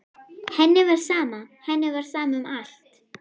Henni var sama, henni var sama um allt.